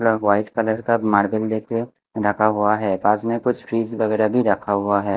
White colour का marble लेके रखा हुआ है पास में कुछ फ्रिज वगैरह भी रखा हुआ है।